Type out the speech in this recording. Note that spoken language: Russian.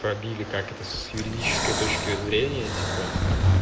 пробили как это с юридической точки зрения типа